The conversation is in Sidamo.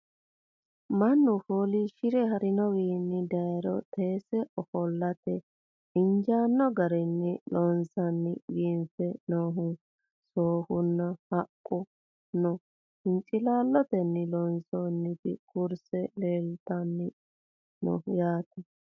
Mannu foollishshire harinowinni dayiiro teesse offollatte injjanno garinni loonseenna biiffe noohu sooffu nna haqqu nna hinciilaallottenni loonsoonnitti kurise leelittanno yaatte